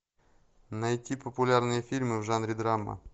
найти популярные фильмы в жанре драма